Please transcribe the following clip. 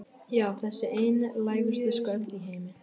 Já, þessi einlægustu skröll í heimi.